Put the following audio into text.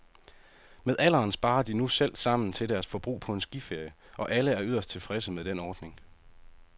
Med alderen sparer de nu selv sammen til deres forbrug på en skiferie, og alle er yderst tilfredse med den ordning.